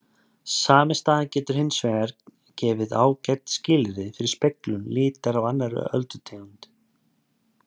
Sami staður getur hins vegar gefið ágæt skilyrði fyrir speglun litar af annarri öldulengd.